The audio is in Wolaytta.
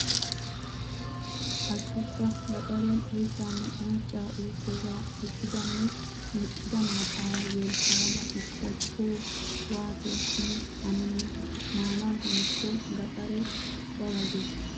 Hashshukka gaxaren oyttanne uncca ukkooga irkkidanne meqqida maattaara yolppayada ustta co waato simi hanenna. Maanawu hannikko gaxare ba ba gees.